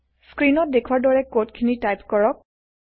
স্ক্ৰীনত দেখুৱাৰ দৰে কোড খিনি টাইপ কৰক